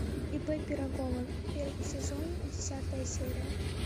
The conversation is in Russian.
ип пирогова первый сезон десятая серия